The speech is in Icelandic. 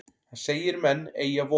Hann segir menn eygja von.